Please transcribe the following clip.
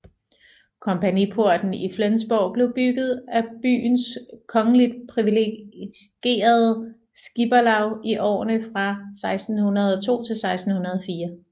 Kompagniporten i Flensborg blev bygget af byens kongeligt priviligerede skipperlaug i årene fra 1602 til 1604